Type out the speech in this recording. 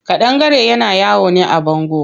Ƙadangare na yawo ne a bango.